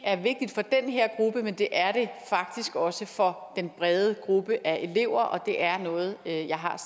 er vigtigt for den her gruppe men det er det faktisk også for den brede gruppe af elever og det er noget jeg har